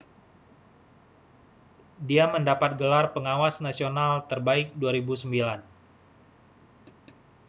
dia mendapat gelar pengawas nasional terbaik 2009